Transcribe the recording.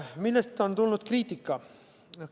Millest on tulnud kriitika?